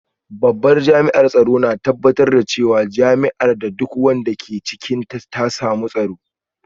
Babban jami’an tsaro na tabbatar da cewa jami’ar da duk wanda ke cikinta ta samu tsaro